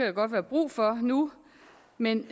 jo godt være brug for nu men